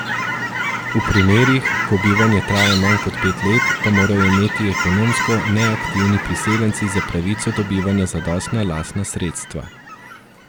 V primerih, ko bivanje traja manj kot pet let, pa morajo imeti ekonomsko neaktivni priseljenci za pravico do bivanja zadostna lastna sredstva.